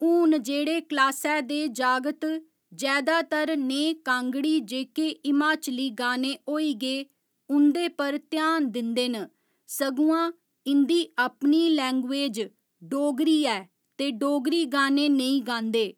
हून जेहड़े क्लासै दे जागत जैदातर नेह् कांगड़ी जेह्के हिमाचली गाने होई गे उंदे पर घ्यान दिंदे न सगुआं इंदी अपनी लैंग्जवेज डोगरी ऐ ते डोगरी गाने नेईं गांदे